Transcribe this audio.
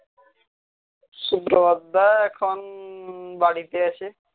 সুপ্রভাত দা এখন বাড়িতে আছে